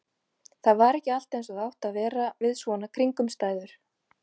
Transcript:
Það var ekki allt eins og það átti að vera við svona kringumstæður.